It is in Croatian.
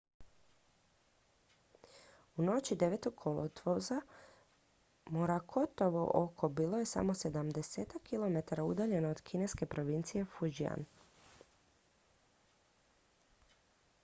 u noći 9. kolovoza morakotovo oko bilo je samo sedamdesetak kilometara udaljeno od kineske provincije fujian